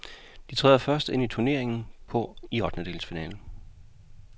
De træder først ind i turneringen i ottendedelsfinalen.